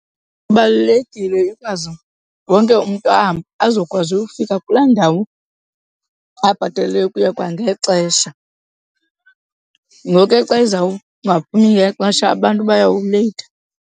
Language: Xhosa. Kubalulekile ikwazi wonke umntu ahambe azokwazi uyofika kulaa ndawo abhatalele ukuya kwangexesha. Ngoku ke xa izawungaphumi ngexesha abantu bayawuleyitha.